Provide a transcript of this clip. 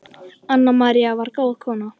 Anna María var góð kona.